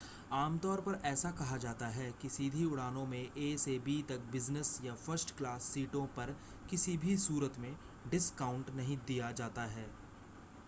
आमतौर पर ऐसा कहा जाता है कि सीधी उड़ानों में ए से बी तक बिज़नेस या फ़र्स्ट क्लास सीटों पर किसी भी सूरत में डिस्काउंट नहीं दिया जाता है